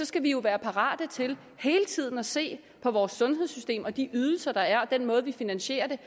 skal vi jo være parate til hele tiden at se på vores sundhedssystem og de ydelser der er og den måde vi finansierer det